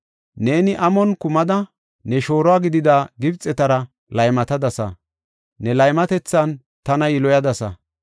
Neeni amon kumida, ne shooro gidida Gibxetara laymatadasa; ne laymatethan tana yiloyadasa.